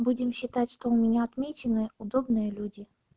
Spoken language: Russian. будем считать что у меня отмечены удобные люди